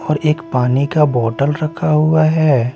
और एक पानी का बोतल रखा हुआ हैं।